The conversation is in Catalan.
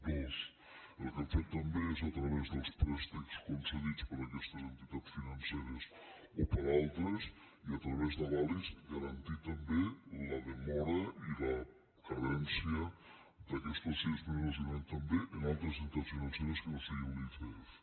dos el que hem fet també és a través dels préstecs concedits per aquestes entitats financeres o per altres i a través d’avalis garantir també la demora i la carència d’aquestos sis mesos i un any també en altres entitats financeres que no siguin l’icf